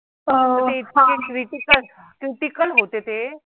cuticle होतें तें